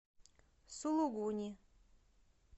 сулугуни